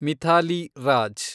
Mithali Raj